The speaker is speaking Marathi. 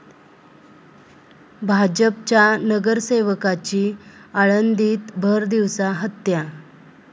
भाजपच्या नगरसेवकाची आळंदीत भरदिवसा हत्या